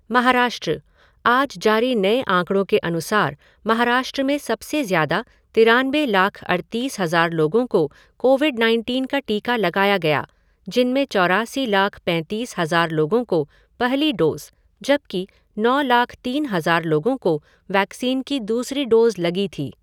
महाराष्ट्रः आज जारी नए आंकड़ों के अनुसार महाराष्ट्र में सबसे ज़्यादा तिरानबे लाख अड़तीस हज़ार लोगों को कोविड नाइनटीन का टीका लगाया गया जिनमें चौरासी लाख पैंतीस हज़ार लोगों को पहली डोज़ जबकि नौ लाख तीन हज़ार लोगों को वैक्सीन की दूसरी डोज़ लगी थी।